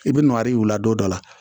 I bɛ nɔni u la don dɔ la